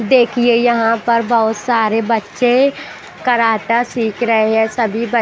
देखिए यहाँ पर बहुत सारे बच्चे कराटा सीख रहे है सभी ब--